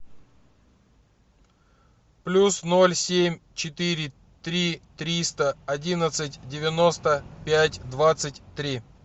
плюс ноль семь четыре три триста одиннадцать девяносто пять двадцать три